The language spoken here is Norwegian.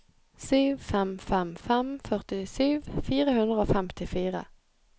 sju fem fem fem førtisju fire hundre og femtifire